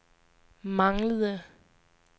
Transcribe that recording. manglede